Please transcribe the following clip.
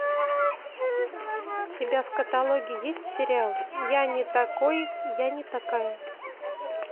у тебя в каталоге есть сериал я не такой я не такая